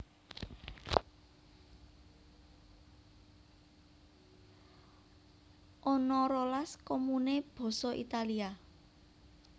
Ana rolas komune basa Italia